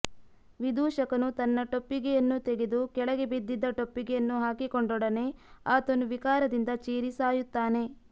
ವಿದೂಷಕನು ತನ್ನ ಟೊಪ್ಪಿಗೆಯನ್ನು ತೆಗೆದು ಕೆಳಗೆ ಬಿದ್ದಿದ್ದ ಟೊಪ್ಪಿಗೆಯನ್ನು ಹಾಕಿಕೊಂಡೊಡನೆ ಆತನೂ ವಿಕಾರದಿಂದ ಚೀರಿ ಸಾಯುತ್ತಾನೆ